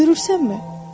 Görürsənmi?